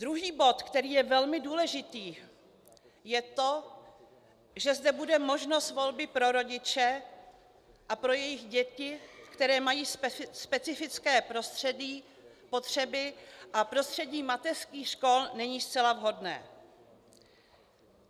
Druhý bod, který je velmi důležitý, je to, že zde bude možnost volby pro rodiče a pro jejich děti, které mají specifické potřeby a prostředí mateřských škol není zcela vhodné.